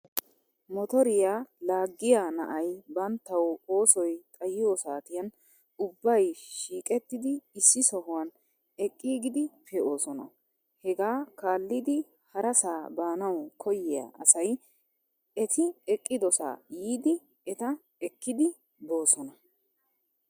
Motoriyaa laaggiyaa naayi banttaw oosoy xayiyoo saatiyan ubbay shiiqettidi issi sohuwan eqiigidi pee'oosona. Hegaa kaallidi harasaa baanaw koyiyaa asay eti eqqidosaa yiidi eta ekidi boosona.